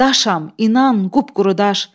daşam, inan, qupquru daş.